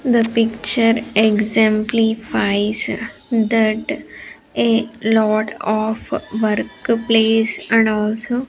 The picture exemplifies that a lot of workplace and also --